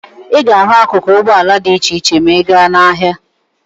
Ị ga-ahụ akuku ụgbọala dị iche iche ma ị ga n'ahịa.